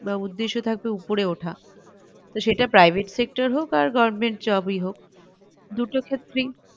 উদ্দেশ্য থাকবে উপড়ে ওঠা তো সেটা private sector হোক আর government job ই হোক দুটো ক্ষেত্রেই